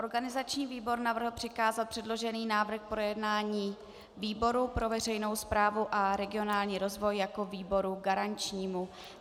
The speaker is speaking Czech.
Organizační výbor navrhl přikázat předložený návrh k projednání výboru pro veřejnou správu a regionální rozvoj jako výboru garančnímu.